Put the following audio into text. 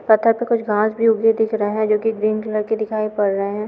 पत्थर पर कुछ घास भी उगी हुई दिख रहें है जो की ग्रीन कलर की दिखाई पड़ रहे है।